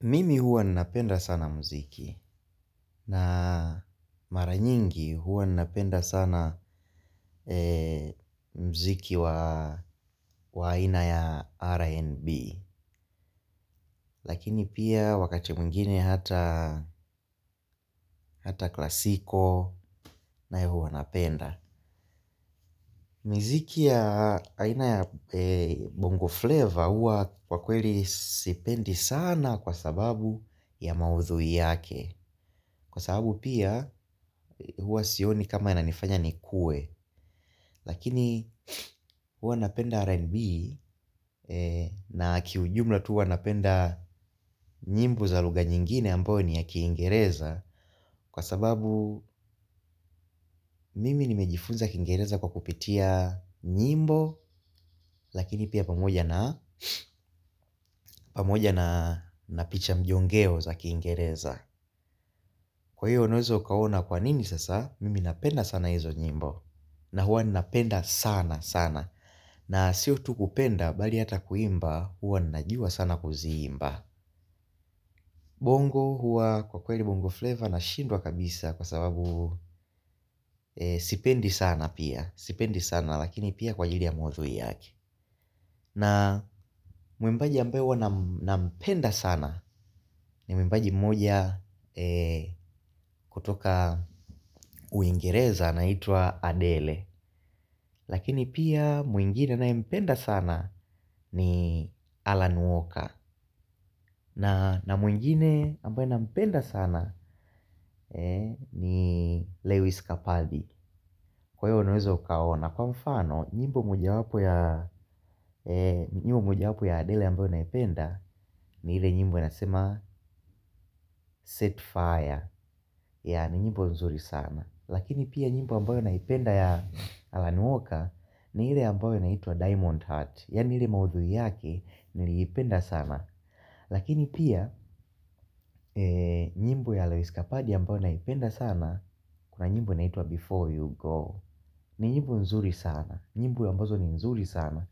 Mimi huwa ninapenda sana mziki na mara nyingi huwa ninapenda sana mziki wa aina ya R&B. Lakini pia wakati mwingine hata klasiko naye huwa napenda. Miziki ya ina ya Bongo Flavor huwa kwa kweli sipendi sana kwa sababu ya maudhui yake. Kwa sababu pia hua sioni kama inanifanya ni kue. Lakini huwa napenda RNB na kiujumla tu huwa napenda nyimbo za lugha nyingine ambao ni ya kiingereza. Kwa sababu mimi nimejifunza kiingereza kwa kupitia nyimbo. Lakini pia pamoja na pamoja na picha mjongeo za kiingereza. Kwa hiyo unaweza ukaona kwa nini sasa mimi napenda sana hizo nyimbo na huwa ninapenda sana sana, na siyo tu kupenda bali hata kuimba huwa ninajuwa sana kuziimba, bongo huwa kwa kweli bongo flavour nashindwa kabisa kwa sababu sipendi sana pia. Sipendi sana lakini pia kwa ajili ya maudhui yake. Na mwimbaji ambayo huwa nampenda sana ni mwimbaji mmoja kutoka uingereza anaitwa Adele. Lakini pia mwingine ninaye mpenda sana ni Alan Walker. Na mwingine ambaye na mpenda sana ni Lewis Kapaldy. Kwa hiyo unaweza ukaona. Kwa mfano, nyimbo moja wapo ya Adele ambayo naipenda ni ile nyimbo inasema set fire ni nyimbo nzuri sana lakini nyimbo ambayo naipenda ya allan walker ni ile amabayo inaitwa diamond heart yaani ile maudhui yake niliipenda sana. Lakini pia nyimbo ya lewis kapadi ambayo naipenda sana. Kuna nyimbo inaitua before you go. Ni nyimbo nzuri sana. Nyimbo ambazo ni nzuri sana.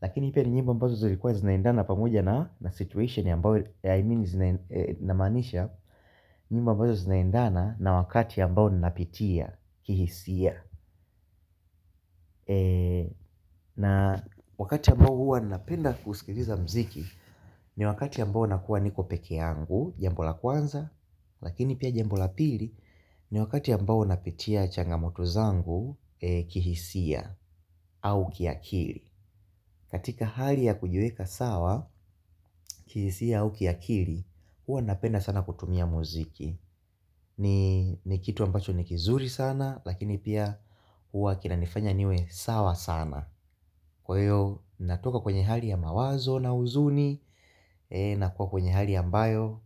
Lakini pia ni nyimbo ambazo zinaendana pamoja na situation ambao I mean namanisha. Nyimbo ambazo zinaendana na wakati ambao ninapitia Kihisia. Na wakati ambao huwa ninapenda kusikiliza mziki. Ni wakati ambao nakuwa niko peke yangu, jambo la kwanza, lakini pia jambo la pili, ni wakati ambao napitia changamoto zangu kihisia au kiakili. Katika hali ya kujiweka sawa, kihisia au kia kili, huwa napenda sana kutumia muziki. Ni kitu ambacho ni kizuri sana, lakini pia hua kinanifanya niwe sawa sana. Kwa hiyo natoka kwenye hali ya mawazo na huzuni. Nakuwa kwenye hali ambayo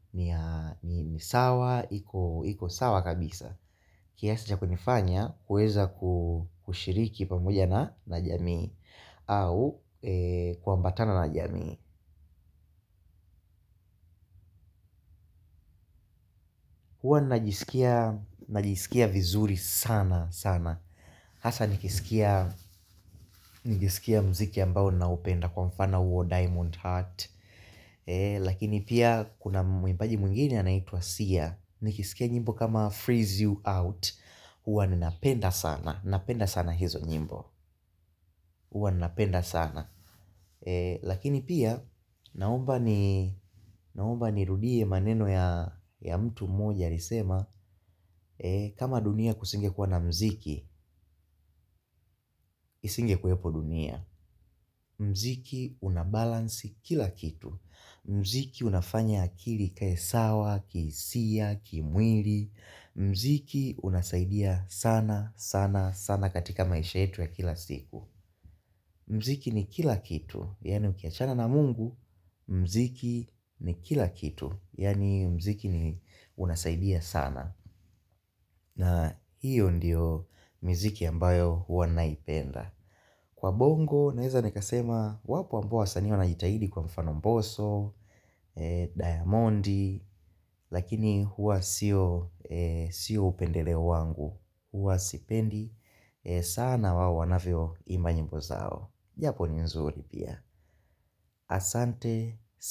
ni sawa, iko sawa kabisa. Kiasa cha kunifanya kuweza kushiriki pamoja na jamii au kuambatana na jamii huwa najisikia vizuri sana sana. Hasa nikisikia mziki ambao naupenda kwa mfana huo Diamond Heart. Lakini pia kuna mwimbaji mwingine anaitwa siya. Nikisikia nyimbo kama freeze you out. Huwa ninapenda sana. Napenda sana hizo nyimbo. Hwa ninapenda sana. Lakini pia naomba ni rudie maneno ya mtu moja Risema kama dunia kusinge kuwa na mziki. Isinge kuwepo dunia. Mziki unabalansi kila kitu. Mziki unafanya akili ikae sawa, kihisia, kimwili. Mziki unasaidia sana, sana, sana katika maisha yetu ya kila siku. Mziki ni kila kitu, yaani ukiachana na mungu. Mziki ni kila kitu, yaani mziki ni unasaidia sana. Na hiyo ndiyo mziki ambayo huwa naipenda. Kwa bongo, naweza nikasema, wapo ambao wasanii wanajitahidi kwa mfano mboso, diamondi, lakini huwa siyo upendeleo wangu huwa sipendi sana wao wanavyo imba nyimbo zao. Japo ni nzuri pia. Asante, sana.